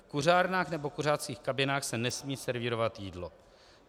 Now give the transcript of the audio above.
V kuřárnách nebo kuřáckých kabinách se nesmí servírovat jídlo.